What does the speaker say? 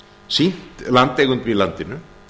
sýnt landeigendum í landinu